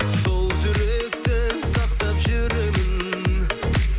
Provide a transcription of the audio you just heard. сол жүректі сақтап жүремін